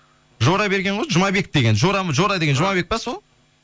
жора берген ғой жұмабек деген жора деген жұмабек пе сол